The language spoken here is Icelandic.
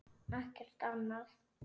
Ekkert annað?